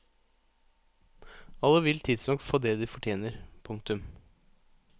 Alle vil tidsnok få det de fortjener. punktum